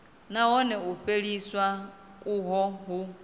nahone u fheliswa uho hu